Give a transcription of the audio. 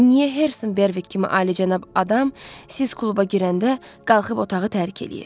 Niyə Herson Berwick kimi alicənab adam siz kluba girəndə qalxıb otağı tərk eləyir?